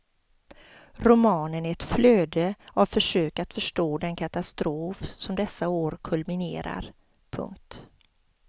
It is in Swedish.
Romanen är ett flöde av försök att förstå den katastrof som dessa år kulminerar. punkt